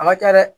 A ma kɛ dɛ